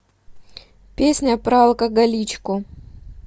песня про алкоголичку